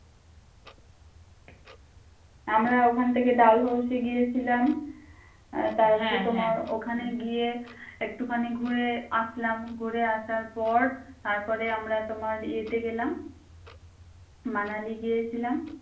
আমরা ওখান থেকে ডালহৌসি গিয়েছিলাম আহ তারপরে তোমার ওখানে গিয়ে একটুখানি ঘুরে আসলাম ঘুরে আসার পর তারপরে আমরা তোমার ইয়েতে গেলাম মানালি গিয়েছিলাম।